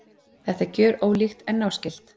Þetta er gjörólíkt en náskylt.